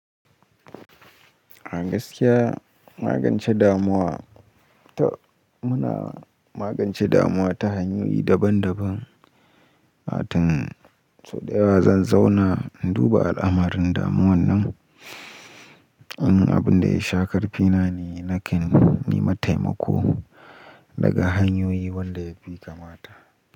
A gaskiya magance damuwa ta, muna magance damuwa ta hanyoyi daban-daban. Hatun, sau daya zan zauna in duba al'amarin damuwan nan. In abin da ya sha karfi na ne, nake nema taimako daga hanyoyi wanda yafi kamata.